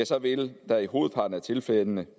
så vil der i hovedparten af tilfældene